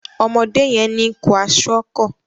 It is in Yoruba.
Ọmọdé yén ní Kwaṣiọkọ